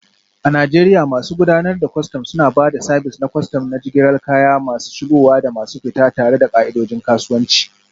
A Najeriya, masu gudanar da kwastam suna ba da sabis na kwastam na jigilar kaya masu shigowa da masu fita, tare da ka'idojin kasuwanci.